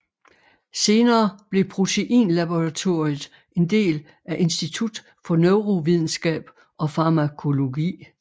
Senere blev Proteinlaboratoriet en del af Institut for Neurovidenskab og Farmakologi